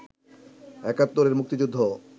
৭১ এর মুক্তিযুদ্ধ